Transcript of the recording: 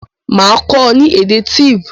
Màá kó o ni èdè Tiv